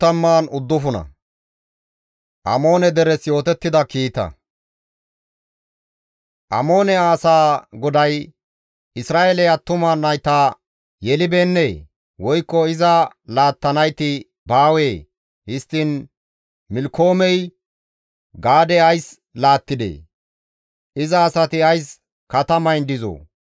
Amoone asaa GODAY, «Isra7eeley attuma nayta yelibeennee? woykko iza laattanayti baawee? Histtiin Milkkoomey Gaade ays laattidee? Iza asati ays katamayn dizoo?